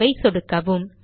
save ஐ சொடுக்கவும்